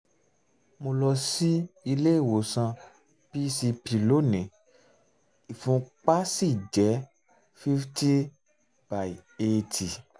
mo lọ sí ilé ìwòsàn um pcp lónìí ìfúnpá um sì jẹ́ fifty by eighty